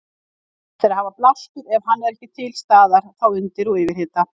Best er að hafa blástur ef hann er ekki til staðar þá undir og yfirhita.